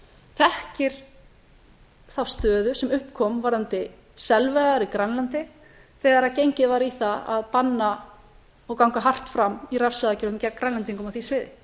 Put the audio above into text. þekkir þá stöðu sem upp kom varðandi selveiðar í grænlandi þegar gengið var í það að banna og ganga hart fram í refsiaðgerðum gegn grænlendingum á því sviði